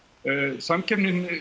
samkeppnin